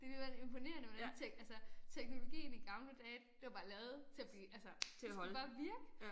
Det alligevel imponerende hvordan altså teknologien i gamle dage det var bare lavet til at blive altså det skal bare virke